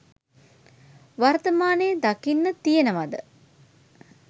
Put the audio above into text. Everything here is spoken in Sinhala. වර්තමානයේ දකින්න තියෙනවද?